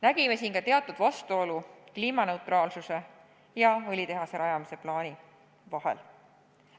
Nägime kliimaneutraalsuse püüete ja õlitehase rajamise plaani vahel teatud vastuolu.